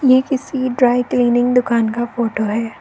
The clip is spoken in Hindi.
ये किसी ड्राई क्लीनिंग दुकान का फोटो है।